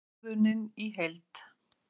Ákvörðunin í heild